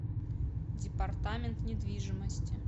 департамент недвижимости